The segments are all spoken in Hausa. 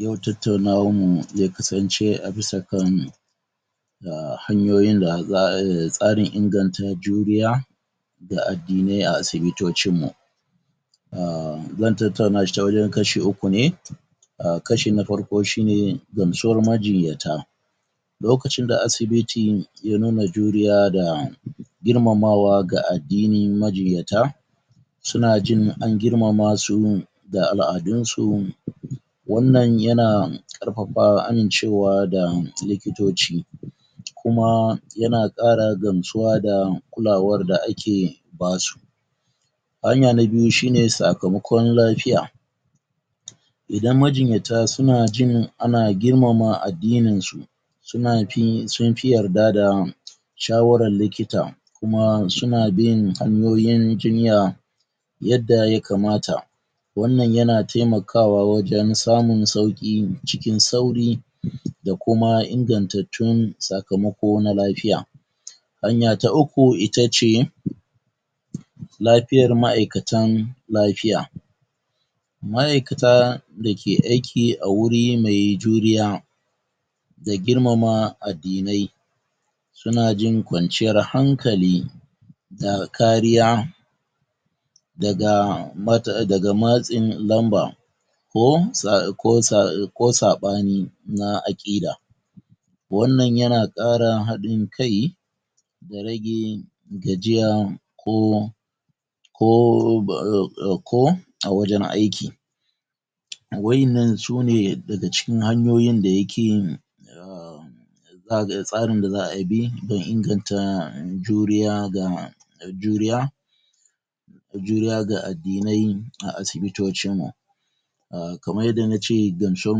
Yin tattaunawa ya kasance a bisa kan uhm hanyoyi da tsarin inganta juriya ga addinai a asibitocin mu uhm zan tattauna shi ta wajan kashi uku ne uhm kashi na farko shine gamsuwar majinyata lokacin da asibiti ya nuna juriya da girmamawa ga adinnin majinyata suna jin an girmamasu da al'adun su wannan yana karfafa amincewa ga likitoci kuma yana kara gamsuwa ga kulawar da ake basu hanya na biyu shine sakamakon lafiya idan majinyata suna jin ana girmama addinin su suna fi sunfi yarda da shawaran likita kuma suna bin hanyoyin jinya yadda ya kamata wannan yana taimakawa wajan samun sauƙi cikin sauri da kuma inganta tun sakamako na lafiya hanya ta uku itace lafiyar maikatan lafiya maikata dake aki a wuri mai juriya da girmama addinai suna jin kwanciyar hankali da kariya daga daga matsin lamba ko sa ko saɓani na hakida wannan yana ƙara hadin kai da rage gajiya ko ko a wajan aiki wayannan sune daga cikin hanyoyin da yake uhm tsarin da za'ayi don inganta juriya ga juriya juriya ga addinai na uhm kamar yadda nace gamsuwar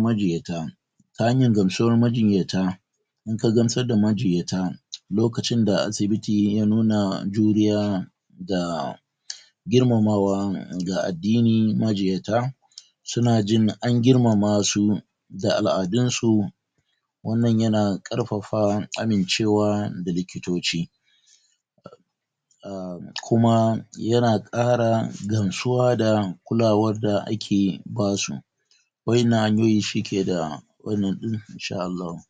majinyata ta hanyar gamsuwar majinyata inka gamsar da majinyata lokacin da asibiti yana juriya da girmamawa da addinin majinyata suna jin an girmama su da al'adunsu wannan yana karfafa amincewa da likitoci uhm kuma yana ƙara gamsuwa da kulawar da ake basu wayannnan hanyoyi suke da wannan din insha Allahu.